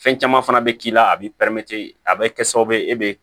Fɛn caman fana bɛ k'i la a b'i a bɛ kɛ sababu ye e bɛ